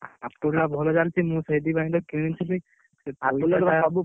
Apple ଟା ଭଲ ଚାଲିଛି ମୁଁ ସେଇଥିପାଇଁ ତ କିଣି ଥିଲି ।